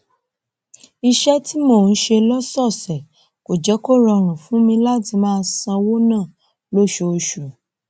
iṣé tí mò ń ṣe lósòòsè kò jé kó rọrùn fún mi láti máa ṣówó ná lóṣooṣù